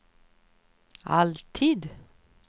alltid